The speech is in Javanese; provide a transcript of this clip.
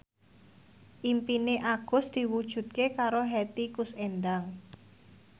impine Agus diwujudke karo Hetty Koes Endang